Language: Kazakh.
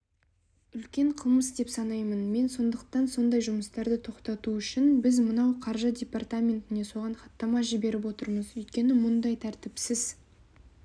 үлкен қылмыс деп санаймын мен сондықтан сондай жұмыстарды тоқтату үшін біз мынау қаржы департаментіне соған хаттама жіберіп отырмыз өйткені мұндай тәртіпсіз